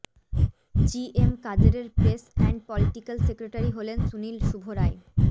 GM কাদেরের press and political secretary হলেন সুনীল শুভ রায়